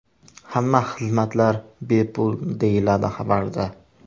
Hamma xizmatlar bepul”, deyiladi xabarda.